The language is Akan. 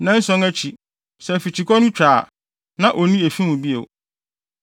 “ ‘Nnanson akyi, sɛ afikyikɔ no twa a, na onni efi mu bio.